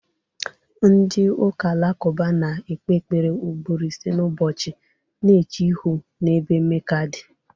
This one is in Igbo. Ndị ụka Alakụba na-ekpe ekpere ugboro ise n'ụbọchị, na-eche ihu n'ebe Meka dị.